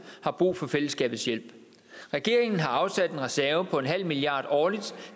har brug for fællesskabets hjælp regeringen har afsat en reserve på en halv milliard årligt